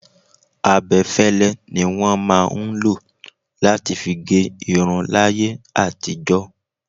Abẹ́fẹ́lẹ́ ni wọn máa ń lo láti fi gé irun láyé àtijó.